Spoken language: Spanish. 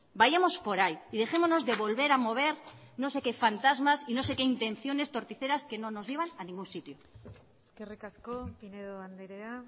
vayamos por ahí y dejémonos de volver a mover no sé qué fantasmas y no sé qué intenciones torticeras que no nos llevan a ningún sitio eskerrik asko pinedo andrea